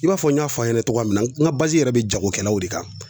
I b'a fɔ n y'a fɔ a ɲɛna cogo min na n ka yɛrɛ bɛ jagokɛlaw de kan